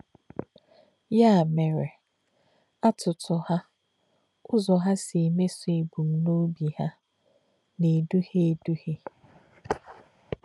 Yà̄ mè̄ré̄, àtụ̀tụ̀ hà̄ — Ụ́zọ̄ hà̄ sī̄ mèsú̄ èbụ̀mnò̄bì̄ hà̄ — nā̄-èdù̄hị̀è̄ èdù̄hị̀è̄.